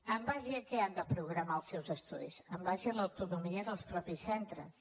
en base a què han de programar els seus estudis en base a l’autonomia dels mateixos centres